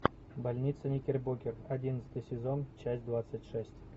больница никербокер одиннадцатый сезон часть двадцать шесть